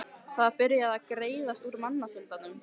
Það var byrjað var að greiðast úr mannfjöldanum.